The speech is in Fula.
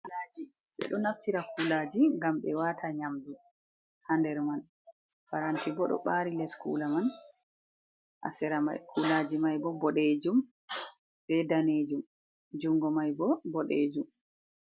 Be do naftira kulaji ngam be wata nyamdu ha nder man, faranti bo do bari les kula man hasira kulaji mai bo bodejum be danejum jungo mai bo bodejum.